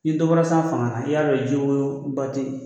Ni dɔ bɔra san fanga na i y'a dɔn jiwoyo ba ten yen